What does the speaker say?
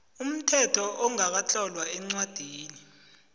umthetho ongakatlolwa eencwadini